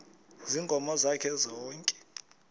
ziinkomo zakhe zonke